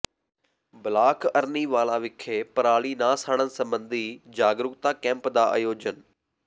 block Arniwala ਵਿਖੇ ਪਰਾਲੀ ਨਾ ਸਾੜਨ ਸਬੰਧੀ ਜਾਗਰੂਕਤਾ ਕੈਂਪ ਦਾ ਆਯੋਜਨ